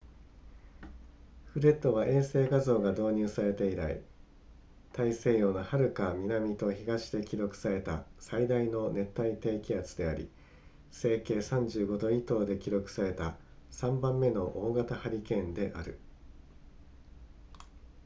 フレッドは衛星画像が導入されて以来大西洋のはるか南と東で記録された最大の熱帯低気圧であり西経35度以東で記録された3番目の大型ハリケーンである